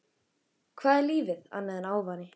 Hvað er lífið annað en ávani?